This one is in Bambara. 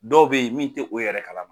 Dɔw bɛ ye min tɛ o yɛrɛ kalama.